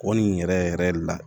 O nin yɛrɛ yɛrɛ la